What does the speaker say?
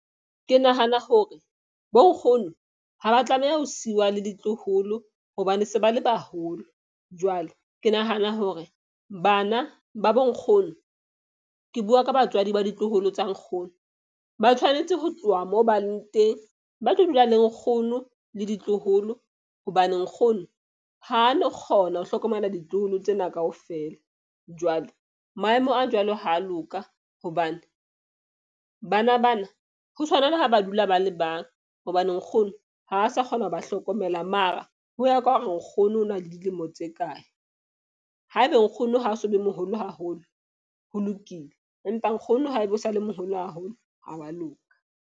Ke nahana hore bo nkgono ha ba tlameha ho siwa le ditloholo. Hobane se ba le baholo, jwale ke nahana hore bana ba bo nkgono ke bua ka batswadi ba ditloholo tsa nkgono ba tshwanetse ho tloha moo bang teng, ba tlo dula le nkgono le ditloholo. Hobane nkgono ha no kgona ho hlokomela ditloholo tsena kaofela. Jwale maemo a jwalo ha a loka. Hobane bana bana ho tshwana le ha ba dula ba le bang hobane nkgono ha a sa kgona ho ba hlokomela. Mara ho ya ka hore nkgono o na le dilemo tse kae. Ha ebe nkgono ha so le moholo haholo, ho lokile empa nkgono haebe o sa le moholo haholo ha wa loka.